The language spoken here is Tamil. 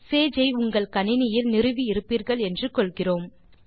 சேஜ் ஐ உங்கள் கணினியில் நிறுவி இருப்பீர்கள் என்று கொள்கிறோம்